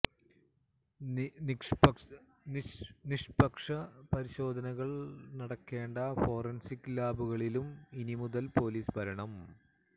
നിഷ്പക്ഷ പരിശോധനകള് നടക്കേണ്ട ഫൊറന്സിക് ലാബുകളിലും ഇനി മുതൽ പൊലീസ് ഭരണം